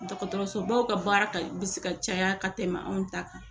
Dɔgɔtɔrɔsobaw ka baara ka bɛ ka caya ka tɛmɛ anw ta kan